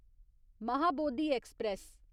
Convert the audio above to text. Mahabodhi express